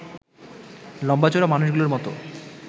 লম্বা-চওড়া মানুষগুলোর মতো